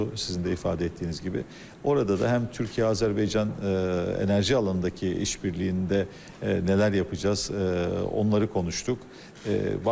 Sizin də ifadə etdiyiniz kimi, orada da həm Türkiyə-Azərbaycan enerji alanındakı işbirliyində nələr yapacaz, onları konuşduq.